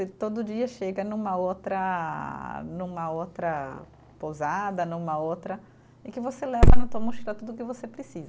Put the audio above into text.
E todo dia chega numa outra, numa outra pousada, numa outra, e que você leva na tua mochila tudo o que você precisa.